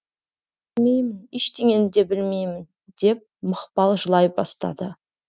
білмеймін ештеңені де білмеймін деп мақпал жылай бастады